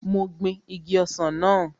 Mo gbin igi ọsàn náà